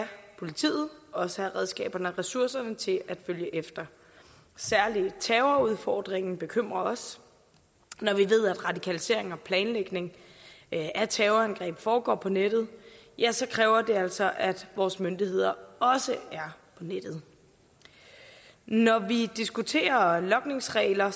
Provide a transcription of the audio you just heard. politiet også have redskaberne og ressourcerne til at følge efter særlig terrorudfordringen bekymrer os når vi ved at radikalisering og planlægning af terrorangreb foregår på nettet ja så kræver det altså at vores myndigheder også er på nettet når vi diskuterer logningsregler